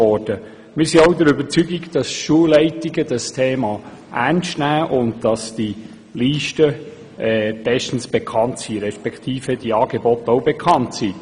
Wir sind auch der Überzeugung, dass Schulleitungen dieses Thema ernst nehmen und dass Liste und Angebote bestens bekannt sind.